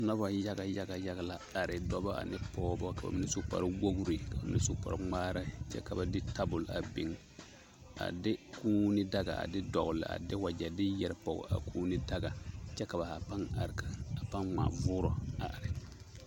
Noba yaga yaga yaga la are, dɔbɔ ane pɔgebɔ, ka bamine su kpare wogiri ka bamine su kpare ŋmaara kyɛ ka ba de tabol a biŋ a de kuuni daga a de dɔgele a de wagyɛ de yɛre pɔge a kuuni daga kyɛ ka ba haa pãã are a pãã ŋmaa voorɔ a are.